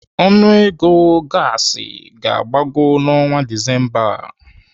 Ọnụego gaasi ga-agbago n'ọnwa Disemba a.